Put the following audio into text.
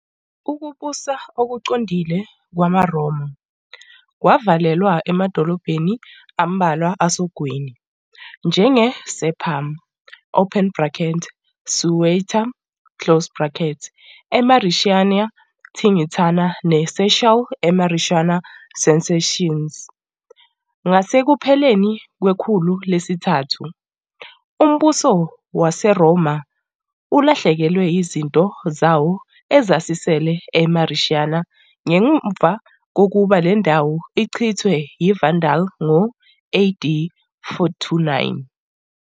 Ukubusa okuqondile kwamaRoma kwavalelwa emadolobheni ambalwa asogwini, njenge-Sepum, Ceuta, eMauretania Tingitana neCherchell eMauretania Cesariensis, ngasekupheleni kwekhulu lesithathu. UMbuso WaseRoma ulahlekelwe yizinto zawo ezazisele eMauretania ngemuva kokuba le ndawo ichithwe yiVandals ngo-AD 429.